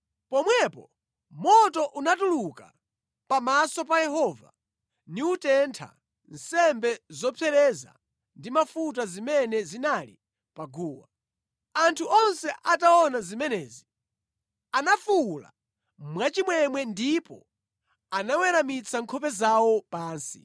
Pomwepo moto unatuluka pamaso pa Yehova niwutentha nsembe zopsereza ndi mafuta zimene zinali pa guwa. Anthu onse ataona zimenezi anafuwula mwachimwemwe ndipo anaweramitsa nkhope zawo pansi.